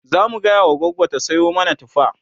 zamu gaya wa gogo ta Sayo mana tufa